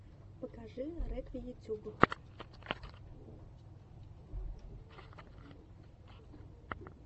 покажи рекви ютуб